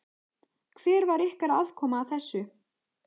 Hver var ykkar aðkoma að þessu?